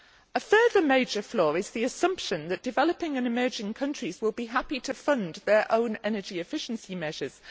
A further major flaw is the assumption that developing and emerging countries will be happy to fund their own energy efficiency measures.